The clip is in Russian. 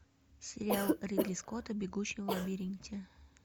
сериал ридли скотта бегущий в лабиринте